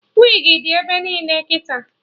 Wigi dị ebe niile kịta